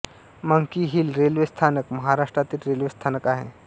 monkey hill railway स्थानक महाराष्ट्रातील railway स्थानक आहे